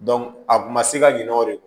a kun ma se ka ɲinɛ o kɔ